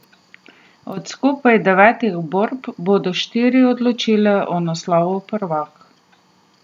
Od skupaj devetih borb bodo štiri odločale o naslovu prvak.